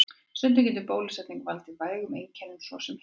Stundum getur bólusetning valdið vægum einkennum, svo sem hita.